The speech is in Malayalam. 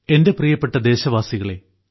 എന്റെ പ്രിയപ്പെട്ട ദേശവാസികളെ